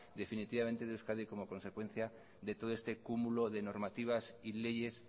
definitivamente de euskadi como consecuencia de todo este cúmulo de normativas y leyes